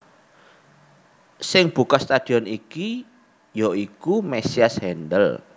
Sing buka stadion iki ya iku Mesias Handel